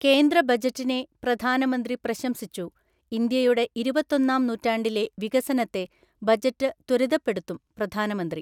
കേന്ദ്ര ബജറ്റിനെ പ്രധാനമന്ത്രി പ്രശംസിച്ചു. ഇന്ത്യയുടെ ഇരുപത്തൊന്നാം നൂറ്റാണ്ടിലെ വികസനത്തെ ബജറ്റ് ത്വരിതപ്പെടുത്തും പ്രധാനമന്ത്രി